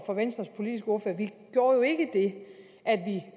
for venstres politiske ordfører at vide at